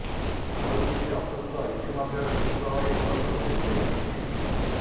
ଆଉ କିଛି ଅସୁସ୍ଥ ଇତିମଧ୍ୟରେ ସୁସ୍ଥ ହୋଇ ଘରକୁ ଫେରି ଯାଇଛନ୍ତି